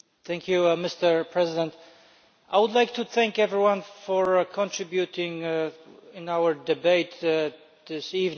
Mr President, I would like to thank everyone for contributing to our debate this evening.